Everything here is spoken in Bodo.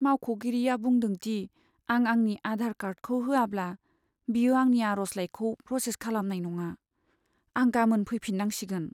मावख'गिरिआ बुंदों दि आं आंनि आधार कार्डखौ होआब्ला, बियो आंनि आर'जलाइखौ प्रसेस खालामनाय नङा। आं गामोन फैफिन्नांसिगोन।